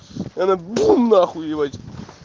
она бум нахуй ебать